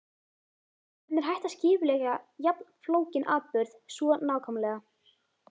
Hvernig er hægt að skipuleggja jafn flókinn atburð svo nákvæmlega?